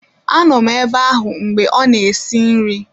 Anọ m ebe ahụ mgbe ọ na-esi nri